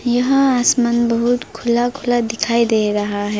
यहां आसमान बहुत खुला खुला दिखाई दे रहा है।